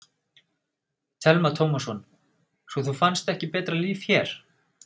Telma Tómasson: Svo þú fannst ekki betra líf hér?